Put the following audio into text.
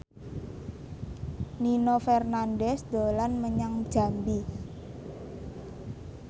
Nino Fernandez dolan menyang Jambi